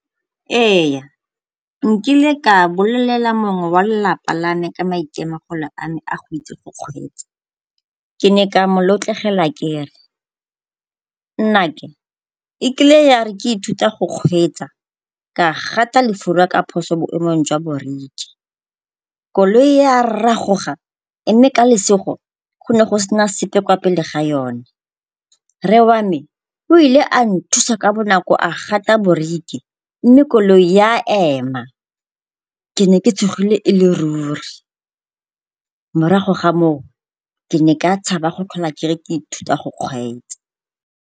Ee, nkile ka bolela mongwe wa lelapa la me ka maitemogolo a me a go itse go kgweetsa. Ke ne ka mo lotlegela ke re, nnake ekile ya re ke ithuta go kgweetsa ka gata lefura ka phoso boemong jwa boriki koloi ya ragoga mme ka lesego go ne go se na sepe kwa pele ga yona, rre wa me o ile a nthusa ka bonako a gata boriki mme koloi ya ema. Ke ne ke tshogile e le ruri morago ga moo, ke ne ka tshaba go tlhola ke re ke ithuta go kgweetsa.